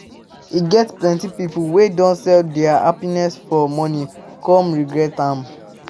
E get plenty pipo wey don sell dia happiness for money come regret am